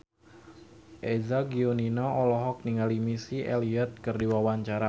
Eza Gionino olohok ningali Missy Elliott keur diwawancara